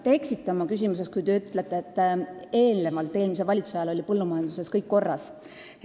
Te eksisite, kui te küsimuses ütlesite, et eelnevalt, eelmise valitsuse ajal oli põllumajanduses kõik korras.